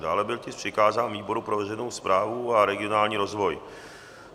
Dále byl tisk přikázán výboru pro veřejnou správu a regionální rozvoj.